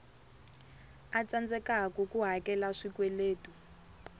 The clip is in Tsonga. a tsandzekaku ku hakela swikweletu